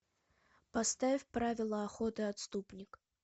поставь правила охоты отступник